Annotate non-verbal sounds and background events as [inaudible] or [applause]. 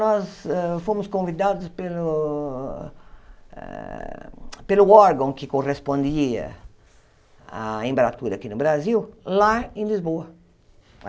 Nós hã fomos convidados pelo eh [sucks teeth] pelo órgão que correspondia à embaratura aqui no Brasil, lá em Lisboa.